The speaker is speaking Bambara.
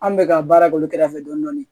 An bɛ ka baara k'olu kɛrɛfɛ dɔni